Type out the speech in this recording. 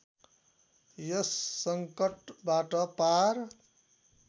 यस सङ्कटबाट पार